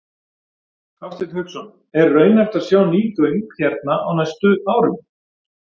Hafsteinn Hauksson: Er raunhæft að sjá ný göng hérna á næstu árum?